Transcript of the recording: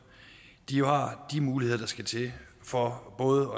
har de muligheder der skal til for både